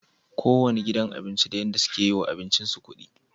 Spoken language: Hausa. Kowanne gidan abinci da yadda suke yiwa abincin su kudi